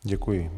Děkuji.